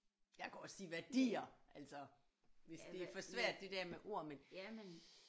Jeg kan også sige værdier altså hvis det er for svært det der med ord men